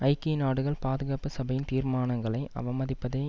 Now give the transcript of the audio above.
ஐக்கிய நாடுகள் பாதுகாப்பு சபையின் தீர்மானங்களை அவமதிப்பதை